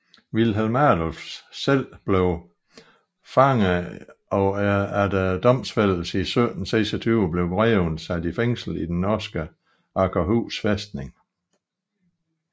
Wilhelm Adolf selv blev fanget og efter domfældelse i 1726 blev greven sat i fængsel i den norske Akershus fæstning